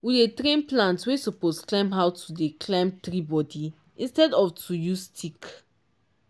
we dey train plant wey suppose climb how to dey climb tree body instead of to use stick.